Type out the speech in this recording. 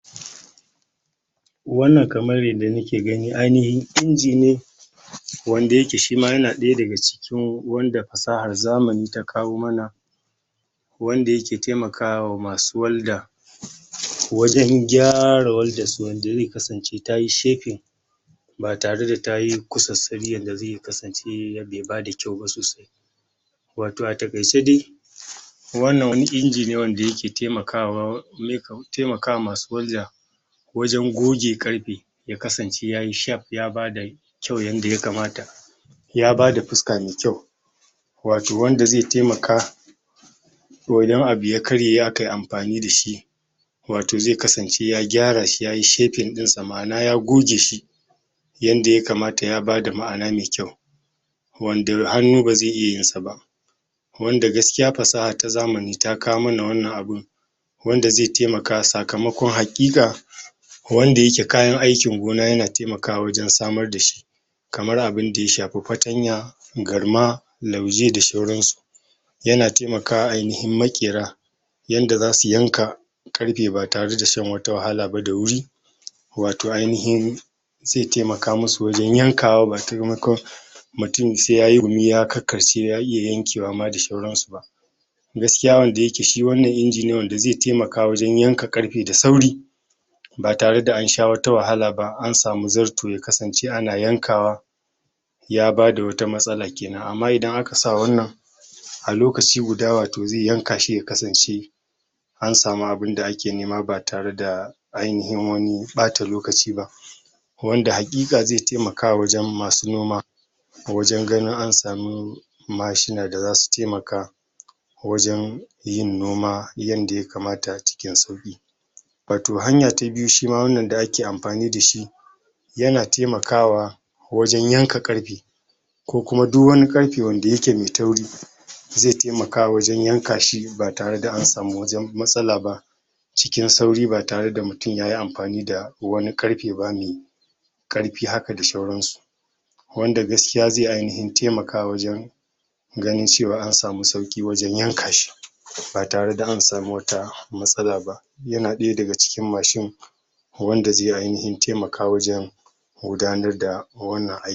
Wannan kamar yanda nake gani ainihi inji ne wanda yake shi ma yana ɗaya daga cikin wanda fasahar zamani ta kawao mana wanda yake temakawa masu walda wajen gyara waldarsu wanda ze kasance ta yi shaping ba tare da ta yi kusassari yanda ze yi ya kasance yadda ya bada kyau ba sosai wato a takaice dai wannan wani inji ne wanda yake taimakwa? temakawa masu walda wajen goge ƙarfe ya kasance ya yi shaf ya bada kyau yanda ya kamata ya bada fuska me kyau wato wanda ze temaka wajen abu ya karye aka amfani da shi wato ze kasance ya gyara shi yayi shaping dinsa ma'ana ya goge shi yanda ya kamata ya bada ma'ana me kyau wanda hannu ba ze iya yin sa ba wanda gaskiya fasaha ta zamani ta kawo mana wannan abin wanda ze temaka sakamakon haƙiƙa wanda yake kayan aikin gona yana temakawa wajen samar da shi kamar abin da ya shafi fatanya garma lauje da shauransu yana taimakwa ainihin maƙera yanda za su yanka ƙarfe ba tare da shan wata wahala ba da wuri wato ainihin ze temaka musu wajen yankawa ba? mutum se ya yi gumi ya karkarce ya iya yankewa ma da shauransu ba gaskiya wanda yake shi wannan inji ne wanda ze temakawa wajen yanka ƙarfe da sauri ba tare da an sha wata wahala ba an samu zarto ya kasance ana yankawa ya bada wata matsala kenan amma ida aka sa wannan a lokaci guda wato ze yanka shi ya kasance an samu abin da ake nema ba tare da ainihin wani ɓata lokaci ba wanda haƙiƙa ze temakawa wajen masu noma ko wajen ganin an samu mashina da za su temaka wajen yin noma yanda ya kamata a cikin sauƙi wato hanya ta biyu shi ma wannan da ake amfani da shi yana temakawa wajen yanka ƙarfe ko kuma du wani ƙarfe wanda yake me tauri ze temaka wajen yanka shi ba tare an samu wajen matsala ba cikin sauri ba tare da mutum ya yi da wani ƙarfe ba me ƙarfi haka da shauransu wanda gaskiya ze ainihin temaka wajen ganin cewa an samu sauƙi wajen yanka shi ba tare da an samu wata matsala ba yana ɗaya daga cikin mashin wanda ze ainihin temaka wajen gudanar da wannan aiki